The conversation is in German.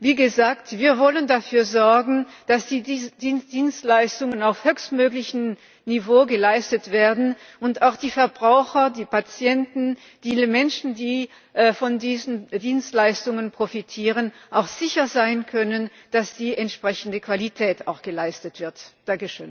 Wie gesagt, wir wollen dafür sorgen, dass diese Dienstleistungen auf höchstmöglichem Niveau geleistet werden und dass die Verbraucher, die Patienten, viele Menschen, die von diesen Dienstleistungen profitieren, auch sicher sein können, dass auch die entsprechende Qualität gewährleistet ist.